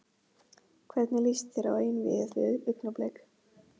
Hvernig lýst þér á einvígið við Augnablik?